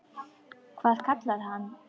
Hvað hann kallar þig?